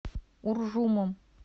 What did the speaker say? уржумом